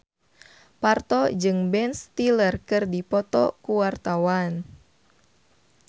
Parto jeung Ben Stiller keur dipoto ku wartawan